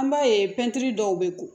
An b'a ye pɛntiri dɔw bɛ ko